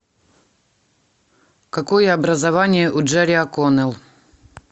какое образование у джерри оконнелл